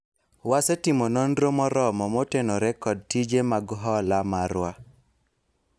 wasetimo nonro moromo motenore kod tije mag hola marwa